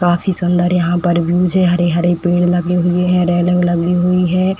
काफी सुंदर यहाँ पर व्यू हरे-हरे पेड़ लगे हुए है। रेलिंग लगी हुई है।